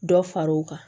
Dɔ far'o kan